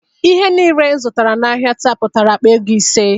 Ihe niile m zụtara n'ahia taa pụtara akpa ego ise